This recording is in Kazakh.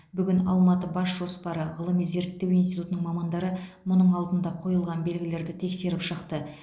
бүгін алматыбасжоспары ғылыми зерттеу институтының мамандары мұның алдында қойылған белгілерді тексеріп шықты